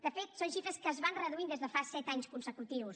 de fet són xifres que es van reduint des de fa set anys consecutius